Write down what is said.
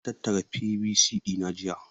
Na tattara PVC ɗina jiya.